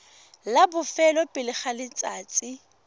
la bofelo pele ga letsatsi